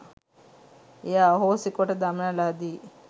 එය අහෝසි කොට දමන ලදී.